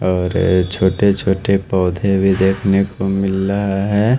और छोटे छोटे पौधे भी देखने को मिल रहा है।